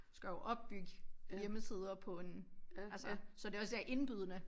Du skal jo opbygge hjemmesider på en altså så det også er indbydende